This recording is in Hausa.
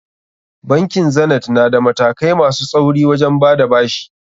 Bankin Zanith na da matakai masu tsauri wajen bada bashi.